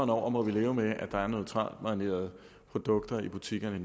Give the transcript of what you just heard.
over må leve med at der er neutralmarinerede produkter i butikkerne og